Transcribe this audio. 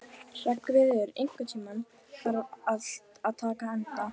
Hreggviður, einhvern tímann þarf allt að taka enda.